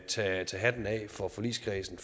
tage hatten af for forligskredsen